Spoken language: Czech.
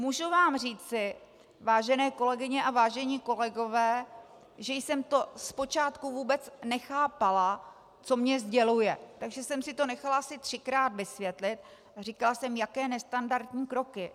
Můžu vám říci, vážené kolegyně a vážení kolegové, že jsem to zpočátku vůbec nechápala, co mně sděluje, takže jsem si to nechala asi třikrát vysvětlit a říkala jsem - jaké nestandardní kroky?